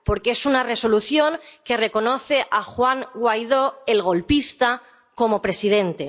Porque es una Resolución que reconoce a Juan Guaidó, el golpista, como presidente.